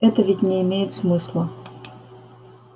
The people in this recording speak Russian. это ведь не имеет смысла